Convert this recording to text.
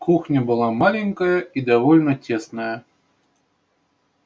кухня была маленькая и довольно тесная